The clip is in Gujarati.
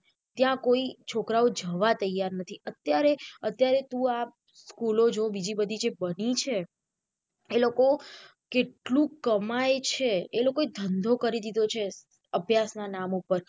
ત્યાં કોઈ છોકરાઓ જવા તૈયાર નથી અત્યારે અત્યારે તું આ school જો બીજી બધી જે બની છે એ લોકો કેટલું કમાય છે એ લોકો એ ધંધો કરી દીધો છે અભ્યાસ ના નામ ઉપર.